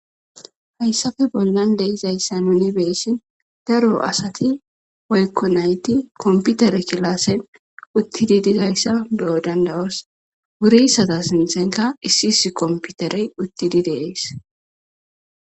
Hayssafe bollan de izayssa nuni beessin daro asati woykko nayti komputere kilaasen uttidi dizayssa be'o dandawos wuri satas miisenka issi isi komputerey uttidi deees.